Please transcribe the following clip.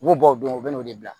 U b'u bɔ o don u bɛ n'o de bila